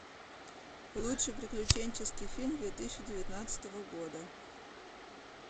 лучший приключенческий фильм две тысячи девятнадцатого года